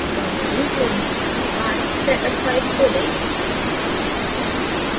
downloading पूर्ण होने के बाद setup file खोलें